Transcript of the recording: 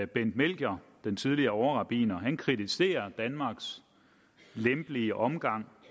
bent melchior den tidligere overrabbiner kritiserer danmarks lempelige omgang